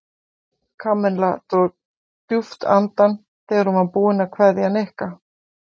Kamilla dró djúpt andann þegar hún var búin að kveðja Nikka.